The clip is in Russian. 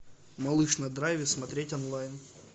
малыш на драйве смотреть онлайн